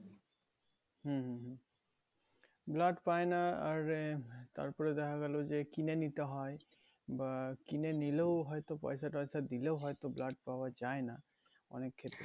হম হম হম blood পায় আর তারপরে দেখা গেল যে কিনে নিতে হয় বা কিনে নিলেও হয়তো পয়সা টয়সা দিলেও হয়তো blood পাওয়া যায় না অনেকক্ষেত্রে